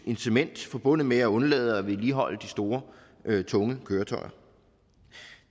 incitament forbundet med at undlade at vedligeholde de store tunge køretøjer